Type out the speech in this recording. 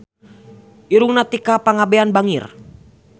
Irungna Tika Pangabean bangir